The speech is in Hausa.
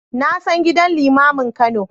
Na san gidan limamin Kano.